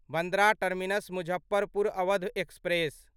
Bandra Terminus Muzaffarpur Awadh express